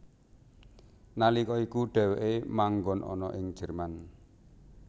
Nalika iku dheweke manggon ana ing Jerman